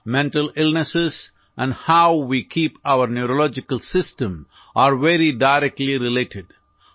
mental illness and how we keep our neurological system are very directly related